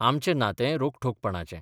आमचें नातेंय रोखठोकपणाचें.